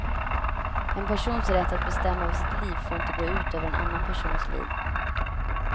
En persons rätt att bestämma över sitt liv får inte gå ut över en annan persons liv.